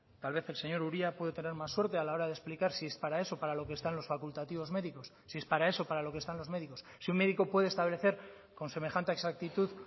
tal vez el señor uria puede tener más suerte a la hora de explicar si es para eso para lo que están los facultativos médicos si es para eso para lo que están los médicos si un médico puede establecer con semejante exactitud